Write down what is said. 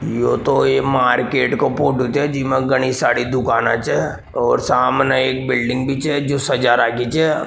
यो तो एक मार्किट को फोटो छे जीमे घनी सारी दुकाना छे और सामने एक बिल्डिंग भी छे जो सजा रख्खी छे।